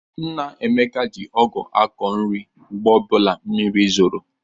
Nna Ekene ji ọgụ akọ nri mgbe ọbụla mmiri zolu.